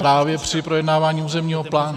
Právě při projednávání územního plánu.